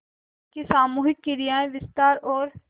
जिसकी सामूहिक क्रियाएँ विस्तार और